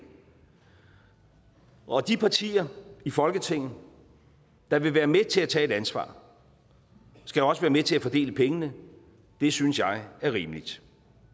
og de partier i folketinget der vil være med til at tage et ansvar skal også være med til at fordele pengene det synes jeg er rimeligt